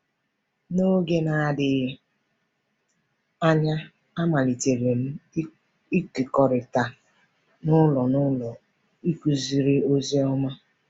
N’oge na -adịghị anya, amalitere m ịkekọrịta n’ụlọ - n’ụlọ ịkụziri ozi ọma.